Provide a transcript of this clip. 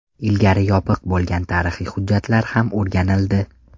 Ilgari yopiq bo‘lgan tarixiy hujjatlar ham o‘rganildi.